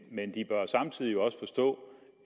men de bør samtidig også forstå